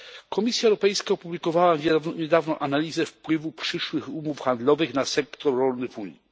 Komisja Europejska opublikowała niedawno analizę wpływu przyszłych umów handlowych na sektor rolny w Unii.